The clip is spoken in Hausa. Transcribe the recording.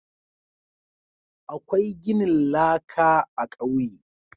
Akwai ginin laƙa a kauye